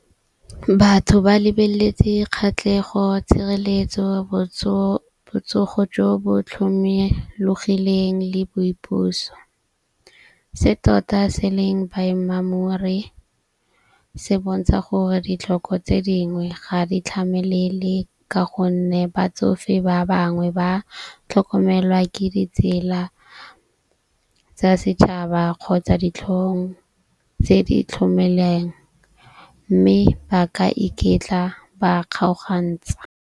Batho ba lebeletse kgatlhego, tshireletso, botsogo jo bo tlhomologileng le boipuso. Se tota se leng baemamori se bontsha gore ditlhoko tse dingwe ga di tlhamelele. Ka gonne batsofe ba bangwe ba tlhokomelwa ke ditsela tsa setšhaba kgotsa ditlhong tse di tlhokomelang . Mme ba ka iketla ba kgaogantsha.